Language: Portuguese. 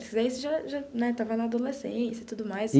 Você aí já já né estava na adolescência e tudo mais.